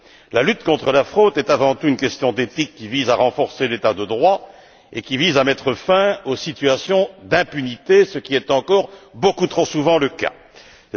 La lutte contre la fraude est avant tout une question d'éthique, qui vise à renforcer l'état de droit et à mettre fin aux situations d'impunité, qui sont encore beaucoup trop nombreuses.